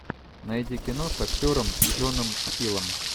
найди кино с актером джоном хиллом